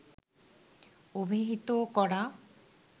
অভিহিত করা